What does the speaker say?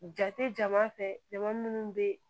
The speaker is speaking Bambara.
Jate jama fɛ jama munnu bɛ